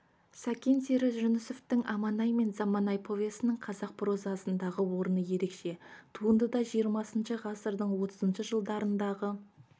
сәкен сері жүнісовтің аманай мен заманай повесінің қазақ прозасындағы орны ерекше туындыда жиырмасыншы ғасырдың отызыншы жылдарындағы